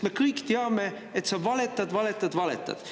Me kõik teame, et sa valetad, valetad, valetad.